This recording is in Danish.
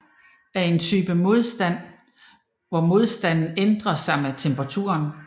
En termistor er en type af modstand hvor modstanden ændrer sig med temperaturen